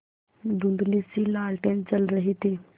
धुँधलीसी लालटेन जल रही थी